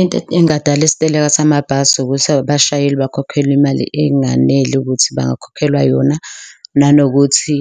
Into engadala isiteleka samabhasi ukuthi abashayeli bakhokhelwe imali enganele ukuthi bangakhokhelwa yona nanokuthi